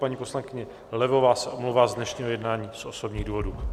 Paní poslankyně Levová se omlouvá z dnešního jednání z osobních důvodů.